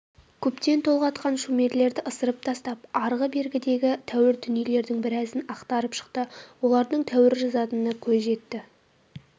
көптен толғатқан шумерлерді ысырып тастап арғы-бергідегі тәуір дүниелердің біразын ақтарып шықты олардан тәуір жазатынына көз жетті